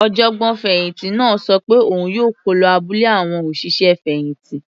Ọ̀jọ̀gbọ́n fẹ̀hìntì náà ṣọ pé òun yóò kó lọ abúlé àwọn òṣìṣẹ́ fẹ̀hìntì.